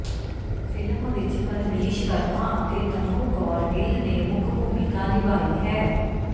film ਵਿੱਚ ਪਰਮੀਸ਼ ਵਰਮਾ ਅਤੇ ਤਨੂ ਕੌਰ ਗਿੱਲ ਨੇ ਮੁੱਖ ਭੂਮਿਕਾ ਨਿਭਾਈ ਹੈ